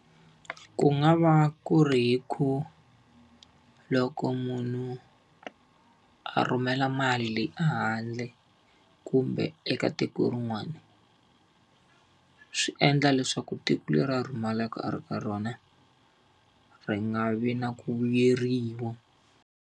Ku nga va ku ri hi ku loko munhu a rhumela mali le ehandle kumbe eka tiko rin'wana, swi endla leswaku tiko leri a rhumelaka a ri ka rona ri nga vi na ku vuyeriwa.